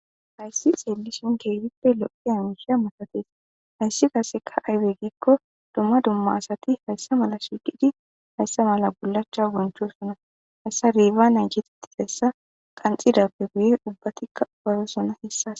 hayssi xeellison keefippe lo7e hamisha matatees hayssi kaseka aybe giikko dumma dumma asati hayssa mala shiiqidi hayssa mala gulacha bonchosuna hayssa riiba nan kititi hessa qanxidappe guye ubbatikka porosona hessas